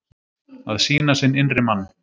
Að sýna sinn innri mann